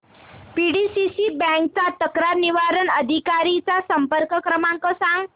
PDCC bank च्या तक्रार निवारण अधिकारी चा संपर्क क्रमांक सांग